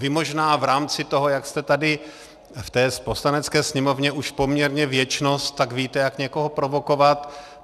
Vy možná v rámci toho, jak jste tady v té Poslanecké sněmovně už poměrně věčnost, tak víte, jak někoho provokovat.